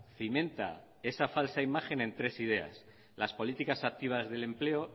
cimenta esa falsa imagen en tres ideas las políticas activas del empleo